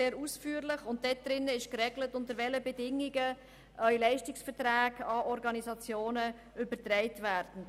Darin ist geregelt, unter welchen Bedingungen Leistungsverträge an Organisationen übertragen werden.